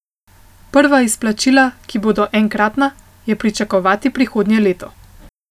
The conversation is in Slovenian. Prva izplačila, ki bodo enkratna, je pričakovati prihodnje leto.